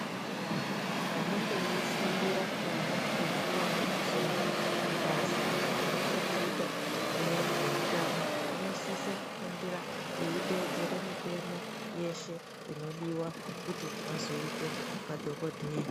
Vantu vanenge veifundira vana vechikora kuzoita mabasa anechekuita nezveutano vanosise kufundira veiteedzere mitemo yeshe inodiwa kuti vazoite madhogodheya.